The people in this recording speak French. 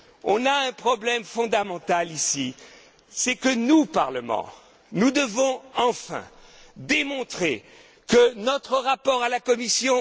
On a un problème fondamental ici, c'est que nous, Parlement, nous devons enfin démontrer notre rapport à la Commission.